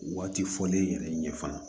Waati fɔlen yɛrɛ ɲɛ fana